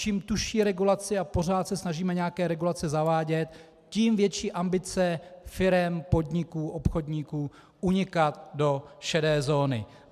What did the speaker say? Čím tužší regulace, a pořád se snažíme nějaké regulace zavádět, tím větší ambice firem, podniků, obchodníků unikat do šedé zóny.